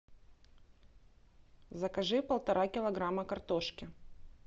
закажи полтора килограмма картошки